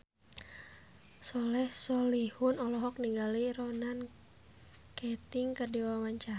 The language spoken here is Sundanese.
Soleh Solihun olohok ningali Ronan Keating keur diwawancara